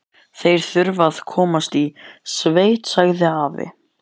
Þeir þurfa að komast í sveit, sagði afi.